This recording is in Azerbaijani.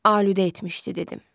Alüdə etmişdi dedim.